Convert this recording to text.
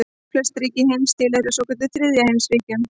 Flest ríki heims tilheyra svokölluðum þriðja heims ríkjum.